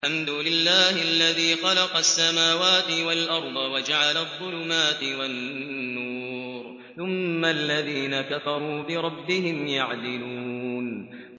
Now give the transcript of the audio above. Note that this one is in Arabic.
الْحَمْدُ لِلَّهِ الَّذِي خَلَقَ السَّمَاوَاتِ وَالْأَرْضَ وَجَعَلَ الظُّلُمَاتِ وَالنُّورَ ۖ ثُمَّ الَّذِينَ كَفَرُوا بِرَبِّهِمْ يَعْدِلُونَ